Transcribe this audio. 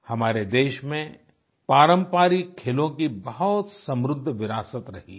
हमारे देश में पारम्परिक खेलों की बहुत समृद्ध विरासत रही है